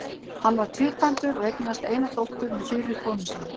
Hann var tvíkvæntur og eignaðist eina dóttur með fyrri konu sinni.